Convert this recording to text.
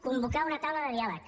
convocar una taula de diàleg